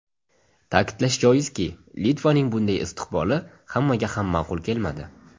Ta’kidlash joizki, Litvaning bunday istiqboli hammaga ham ma’qul kelmadi.